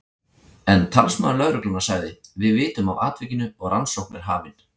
En talsmaður lögreglunnar sagði: Við vitum af atvikinu og rannsókn er hafin.